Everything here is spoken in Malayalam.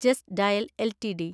just Dial LTD